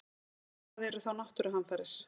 En hvað eru þá náttúruhamfarir?